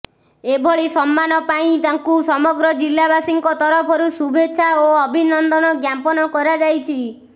ଏଭଳି ସମ୍ମାନ ପାଇଁ ତାଙ୍କୁ ସମଗ୍ର ଜିଲ୍ଲାବାସୀଙ୍କ ତରଫରୁ ଶୁଭେଚ୍ଛା ଓ ଅଭିନନ୍ଦନ ଜ୍ଞାପନ କରାଯାଇଛି